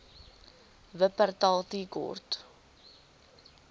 wupperthal tea court